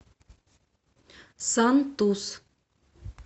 сантус